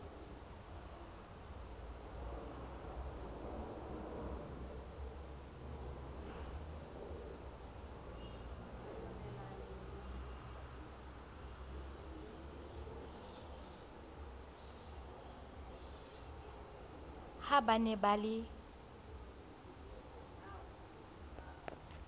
ha ba ne ba le